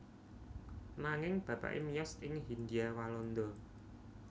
Nanging bapané miyos ing Hindhia Walanda